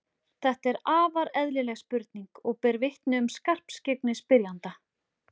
Þetta er afar eðlileg spurning og ber vitni um skarpskyggni spyrjanda.